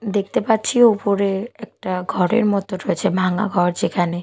দেখতে পাচ্ছি ওপরে একটা ঘরের মত রয়েছে ভাঙা ঘর যেখানে।